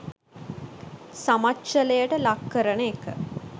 සමච්චලයට ලක් කරන එක.